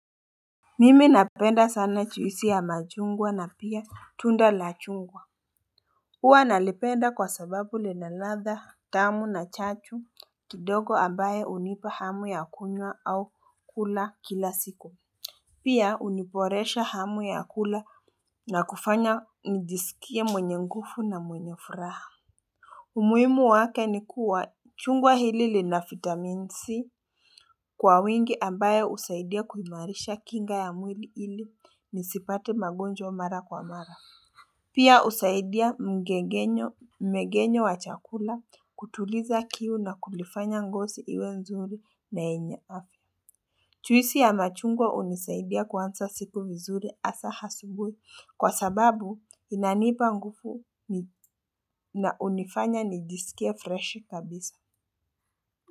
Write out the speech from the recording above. Mimi napenda sana juisi ya machungwa na pia tunda la chungwa. Huwa nalipenda kwa sababu linaladha tamu na chachu kidogo ambaye hunipa hamu ya kunywa au kula kila siku. Pia huniboresha hamu ya kula na kufanya nijisikie mwenye nguvu na mwenye furaha. Umuhimu wake ni kuwa chungwa hili lina vitamin C kwa wingi ambaye husaidia kuimarisha kinga ya mwili ili nisipate magonjwa mara kwa mara. Pia husaidia mgegenyo mgegenyo wa chakula kutuliza kiu na kulifanya ngozi iwe nzuri na yenye afya. Juisi ya machungwa hunisaidia kuanza siku vizuri hasa asubuhi kwa sababu inanipa nguvu na hunifanya nijisikia freshi kabisa.